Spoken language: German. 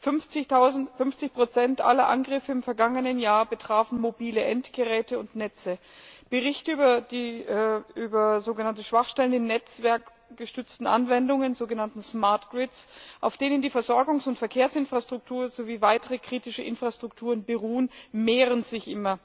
50 aller Angriffe im vergangenen Jahr betrafen mobile Endgeräte und Netze. Berichte über sogenannte Schwachstellen in netzwerkgestützten Anwendungen, sogenannten smart grids, auf denen die Versorgungs und Verkehrsinfrastruktur sowie weitere kritische Infrastrukturen beruhen, mehren sich.